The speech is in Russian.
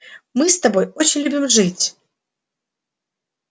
мы с тобой очень любим жить